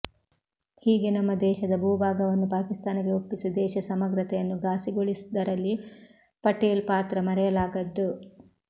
ಹೀಗೆ ನಮ್ಮ ದೇಶದ ಭೂ ಭಾಗವನ್ನು ಪಾಕಿಸ್ತಾನಕ್ಕೆ ಒಪ್ಪಿಸಿ ದೇಶ ಸಮಗ್ರತೆಯನ್ನು ಫಾಸಿಗೊಳಿಸಿದ್ದರಲ್ಲಿ ಪಟೇಲ್ ಪಾತ್ರ ಮರೆಯಲಾಗದ್ದು